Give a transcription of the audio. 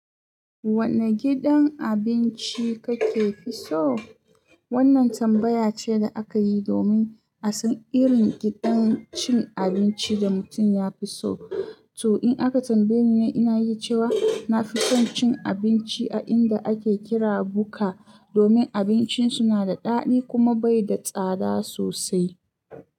Wane gidan abinci kake fi so? Wannan tambaya ce da aka yi domin a san irin gidan cin abinci da mutum ya fi so. To, in aka tambaye ni, ina yi cewa na fi son cin abinci a inda ake kira Buka domin abincin su na da daɗi kuma bai da tsada sosai.